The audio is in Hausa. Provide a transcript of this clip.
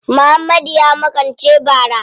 Muhammadu ya makance bara.